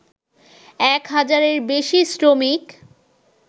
এক হাজারের বেশি শ্রমিক